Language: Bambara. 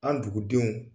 An dugudenw